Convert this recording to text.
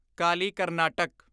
Kali Karnataka